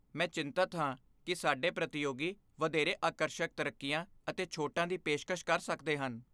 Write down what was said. ਮੈਂ ਚਿੰਤਤ ਹਾਂ ਕਿ ਸਾਡੇ ਪ੍ਰਤੀਯੋਗੀ ਵਧੇਰੇ ਆਕਰਸ਼ਕ ਤਰੱਕੀਆਂ ਅਤੇ ਛੋਟਾਂ ਦੀ ਪੇਸ਼ਕਸ਼ ਕਰ ਸਕਦੇ ਹਨ।